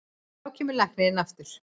Þá kemur læknirinn aftur.